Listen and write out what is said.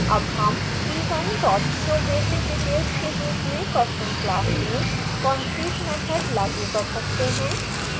अब हम p1 showbasicdetails के रूप में person class में concrete मैथड लागू कर सकते हैं